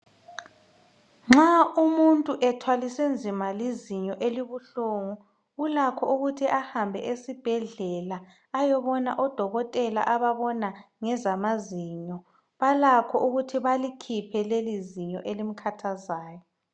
Nxa umuntu ethwaliswe nzima lizinyo elibuhlungu .Ulakho ukuthi ahambe esibhedlela ayoboña odokotela ababona ngezamazinyo .Balakho ukuthi balikhiphe lelizinyo elimkhathazayo.